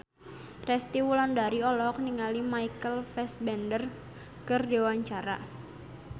Resty Wulandari olohok ningali Michael Fassbender keur diwawancara